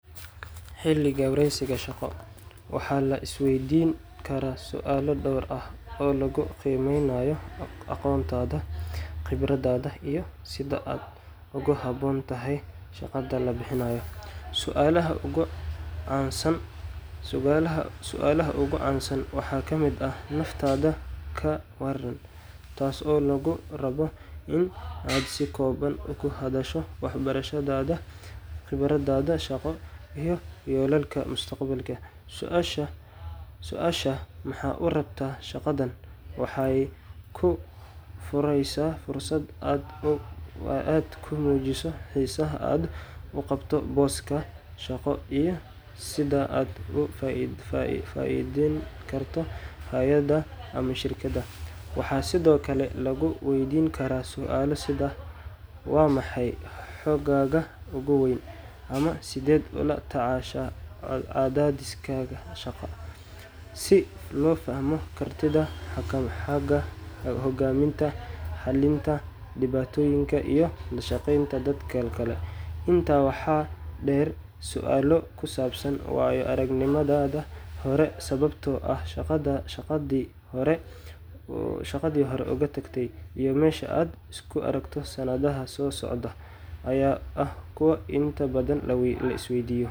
Xilliga wareysiga shaqo, waxaa la isweydiin karaa su’aalo dhowr ah oo lagu qiimeynayo aqoontaada, khibradaada, iyo sida aad ugu habboon tahay shaqada la bixinayo. Su’aalaha ugu caansan waxaa ka mid ah: “Naftaada ka warran,” taas oo lagu rabayo in aad si kooban uga hadasho waxbarashadaada, khibraddaada shaqo, iyo yoolalkaaga mustaqbal. Su’aasha “Maxaad u rabtaa shaqadan?” waxay kuu fureysaa fursad aad ku muujiso xiisaha aad u qabto booska shaqo iyo sida aad uga faa’iideyn karto hay’adda ama shirkadda. Waxaa sidoo kale lagu weydiin karaa su’aalo sida “Waa maxay xooggaaga ugu weyn?” ama “Sideed ula tacaashaa cadaadiska shaqo?” si loo fahmo kartidaada xagga hogaaminta, xalinta dhibaatooyinka, iyo la shaqeynta dadka kale. Intaa waxaa dheer, su’aalo ku saabsan waayo-aragnimadaada hore, sababta aad shaqadii hore uga tagtay, iyo meesha aad isku aragto sanadaha soo socda ayaa ah kuwo inta badan la isweydiiyo.